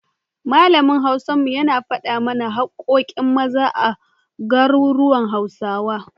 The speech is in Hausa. Malamin Hausar mu, yana faɗa mana haƙƙoƙin Maza a garuruwan Hausawa.